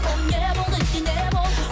ол не болды не не болды